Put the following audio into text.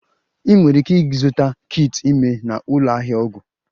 Ị nwere ike ịzụta kit ime na ụlọ ahịa ọgwụ